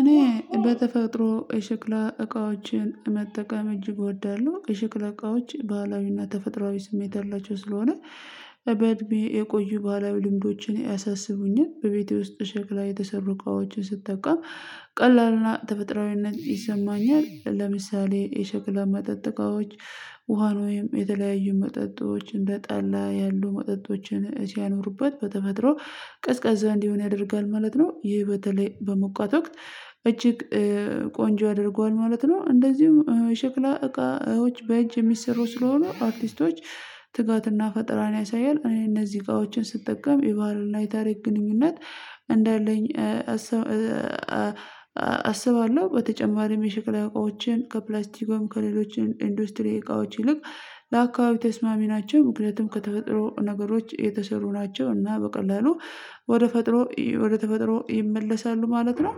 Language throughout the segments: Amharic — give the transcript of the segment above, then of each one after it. እኔ በተፈጥሮ የሽክላ እቃዎችን መጠቀም እጅግ እወዳለሁ። የሽክላ እቃዎች ባህላዊና ተፈጥሮአዊ ስሜት ያላቸው ስለሆነ በእድሜ የቆዩ ባህላዊ ልምዶችን ያሳስቡኛል በቤቴ ውስጥ ሸክላ የተሰሩ እቃዎችን ስጠቀም። ቀላልና ተፈጥሮአዊነት ይሰማኛል ለምሳሌ የሸክላ መጠጥ እቃዎች ውሃ ወይም የተለያዩ መጠጦች እንደጠላ ያሉ መጠጦችን ሲያኖሩበት በተፈጥሮ ቀዝቃዛ እንዲሆን ያደርጋል ማለት ነው ይሄ በተለይ በሞቋት ወቅት እጅግ ቆንጆ ያደርገዋል ማለት ነው። እንደዚሁም ሽክላ እቃዎች በእጅ የሚሰሩ ስለሆኑ አርቲስቶች ትጋትና ፈጠራን ያሳያል እኔ እነዚህ እቃዎችን ስጠቀም የባህልና የታሪክ ግንኙነት እንዳለኝ አስባ አስባለሁ። በተጨማሪም የሽክላ እቃዎችም ከፕላስቲክ ወይም ከሌሎችን ኢንዶስትሪ እቃዎች ይልቅ ለአካባቢ ተስማሚ ናቸው ምክንያቱም ከተፈጥሮ ነገሮች የተሰሩ ናቸው እና በቀላሉ ወደ ፈጥሮ ወደ ተፈጥሮ ይመለሳሉ ማለት ነው።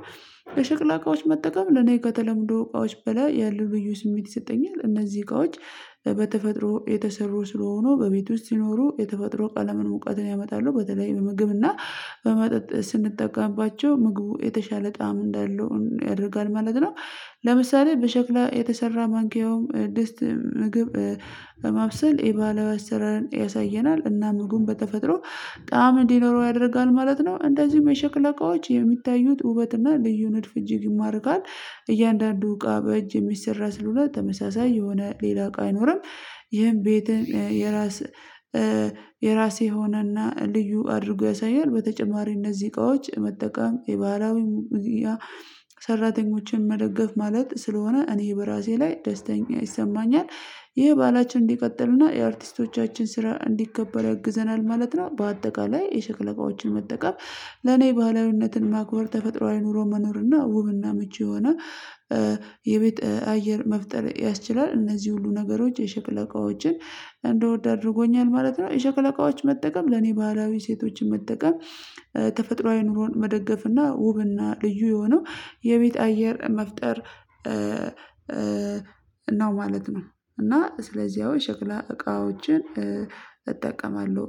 የሸክላ እቃዎች መጠቀም ለኔ ከተለመዱ እቃዎች በላይ ያለው ልዩ ስሜት ይሰጠኛል እነዚህ እቃዎች በተፈጥሮ የተሰሩ ስለሆኑ በቤት ውስጥ ሲኖሩ የተፈጥሮ ቀለምን እውቀትን ያመጣሉ በተለይ ምግብና በመጠጥ ስንጠቀምባቸው ምግቡ የተሻለ ጣዕም እንዳለው ያደርጋል ማለት ነው። ለምሳሌ በሸክላ የተሰራ ማንኪያውም ድስት ምግብ ለማብሰል የባህላዊ አሰራር ያሳየናል እና ምግቡም በተፈጥሮ ጣዕም እንዲኖረው ያደርጋል ማለት ነው እንደዚሁም የሸክላ እቃዎች የሚታዩት ውበት እና ልዩ ንድፍ እጅግ ይማርካል እያንዳንዱ እቃ በእጅ የሚሰራ ስለሆነ ተመሳሳይ የሆነ ሌላ እቃ አይኖርም። ይሄን ቤት የራስ የራሴ የሆነና ልዩ አድርጎ ያሳያል በተጨማሪ እነዚህ እቃዎች መጠቀም የባህላዊ ሰራተኞችን መደገፍ ማለት ስለሆነ እኔ በራሴ ላይ ደስተኛ ይሰማኛል። ይሄ ባህላችን እንዲቀጥልና የአርቲስቶቻችን ስራ እንዲከበር ያግዘናል ማለት ነው። በአጠቃላይ የሸክላ እቃዎችን መጠቀም ለኔ ባህላዊነትን ማክበር ተፈጥሯዊ ኑሮ መኖርና እና ውብና ምቹ የሆነ የቤት አየር መፍጠር ያስችላል እነዚህ ሁሉ ነገሮች የሽክላ እቃዎችን እንድወድ አድርጎኛል ማለት ነው። የሸክለ እቃዎች መጠቀም ለኔ ባህላዊ እሴቶችን መጠቀም ተፈጥሯዊ ኑሮን መደገፍና ውብና ልዩ የሆነው የቤት አየር መፍጠር ነው ማለት ነው። እና ስለዚህ ያው የሽክላ እቃዎችን እጠቀማለሁ